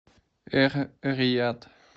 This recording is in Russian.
эр рияд